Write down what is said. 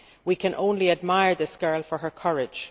We can only admire this girl for her courage.